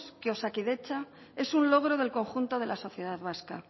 que osakidetza es un logro del conjunto de la sociedad vasca